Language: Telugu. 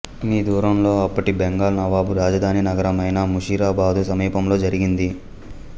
మీ దూరంలో అప్పటి బెంగాల్ నవాబు రాజధాని నగరమైన ముషీరాబాదు సమీపంలో జరిగింది